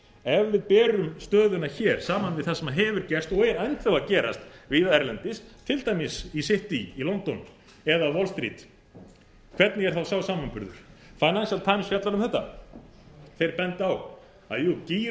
ef við berum stöðuna hér saman við það sem hefur gerst og er enn þá að gerast víða erlendis til dæmis í city city í london eða wall street hvernig er þá sá samanburður það þrjátíu þrjátíu um þetta þeir benda á að jú gírun